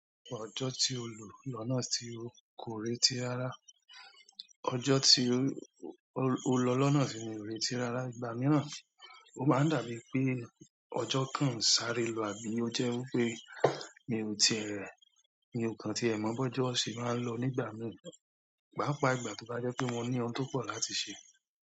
Ọjọ́ tí o lò lọ́nà tí o kò retí rara, ọjọ́ tí o, o lọ loná ti mi ò reti rara. Ìgbà mìíràn, ó máa ń dàbí pé ọjọ́ kan ń sáré lò àbí ó jẹ́ wí pé mi ò ti ẹ, mi o kan tí ẹ̀ mọ̀ bọ́jọ́ se máa ń lò nígbà mìíràn, pàápàá ìgbà tó bá jẹ́ pé mo ní ohun tó pọ̀ láti ṣe.